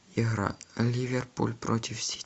игра ливерпуль против сити